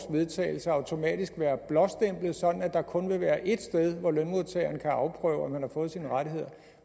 vedtagelse automatisk være blåstemplet sådan at der kun vil være ét sted hvor lønmodtageren kan afprøve om han har fået sine rettigheder